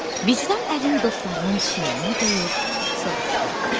Vicdan əlini dostlarının çiyninə qoyub soruşdu.